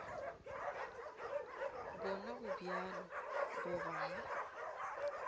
bona go bjalo goba ga